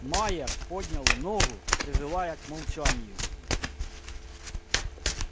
майер поднял ногу призывая к молчанию